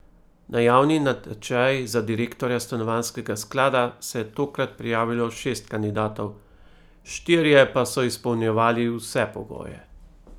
Na javni natečaj za direktorja stanovanjskega sklada se je tokrat prijavilo šest kandidatov, štirje pa so izpolnjevali vse pogoje.